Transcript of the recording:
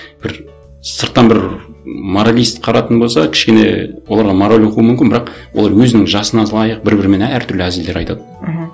бір сырттан бір моралист қарайтын болса кішкене оларға мораль оқуы мүмкін бірақ олар өзінің жасына лайық бір бірімен әртүрлі әзілдер айтады мхм